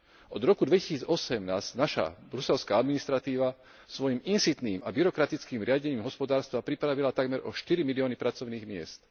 Od roku 2008 nás naša bruselská administratíva svojim insitným a byrokratickým riadením hospodárstva pripravila takmer o štyri milióny pracovných miest.